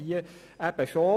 Hier aber schon.